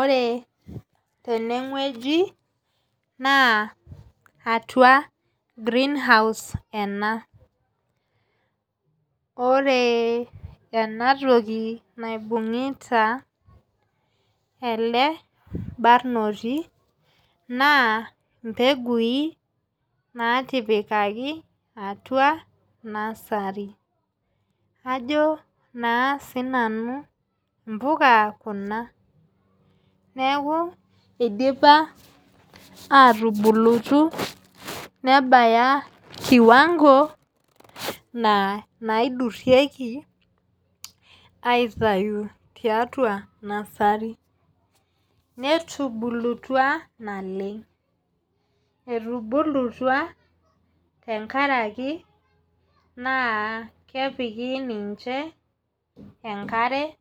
Ore teneweji naa atua greenhouse enaa. Ore ena toki naibungita ele barnoti naa mbeguin natipikaki aatua nursery. Ajo naa sii nanu mbuka kuna neeku isipa atubulutu nebaya kiwango naa naidurieki aitayu tiatua nursery. Netubulutua naleng'. Etubulutua tenkaraki naa kepiki ninche enkare